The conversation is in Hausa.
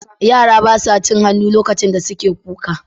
Yara ba sa cin hannu lokacin da suke kuka.